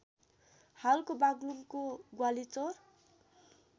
हालको बाग्लुङ्गको ग्वालीचौर